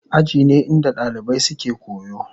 Aji ne inda dalibai suke koyo.